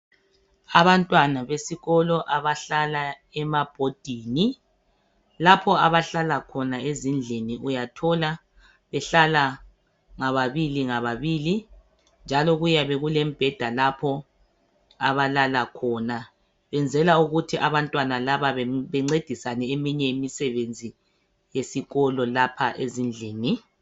Abantwana besikolo abahlala emabhodini lapha abahlala khona ezindlini uyathola behlala ngababili ngababili njalo kuyabe kulemibheda lapho abalala khona benzela ukuthi abantwana laba bencedisane eminye imisebenzi yesikolo lapha ezindlini.